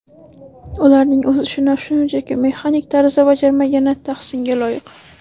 Ularning o‘z ishini shunchaki mexanik tarzda bajarmagani tahsinga loyiq.